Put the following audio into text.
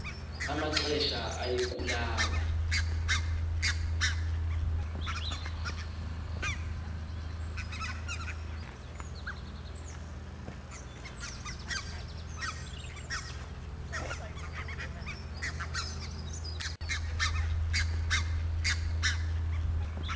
amaxesha aye kulala